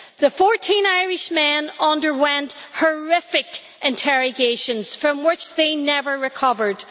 The 14 Irishmen underwent horrific interrogations from which they never recovered.